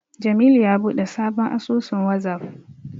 Jamilu ya buɗe sabon asusun Wazaf.